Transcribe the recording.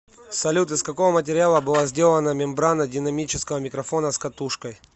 салют из какого материала была сделана мембрана динамического микрофона с катушкой